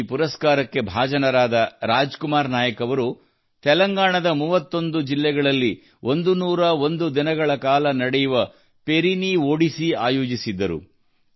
ಈ ಪುರಸ್ಕಾರಕ್ಕೆ ಭಾಜನರಾದ ರಾಜ್ ಕುಮಾರ್ ನಾಯಕ್ ಅವರು ತೆಲಂಗಾಣದ 31 ಜಿಲ್ಲೆಗಳಲ್ಲಿ 101 ದಿನಗಳ ಕಾಲ ನಡೆಯುವ ಪೆರಿನೀ ಒಡಿಸೀ ಆಯೋಜಿಸಿದ್ದರು